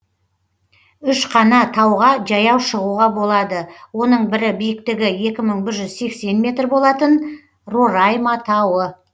үш қана тауға жаяу шығуға болады оның бірі биіктігі екі мың бір жүз сексен метр болатын рорайма тауы